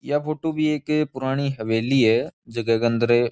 या फोटू भी एक पुरानी हवेली की है झके के अंदर --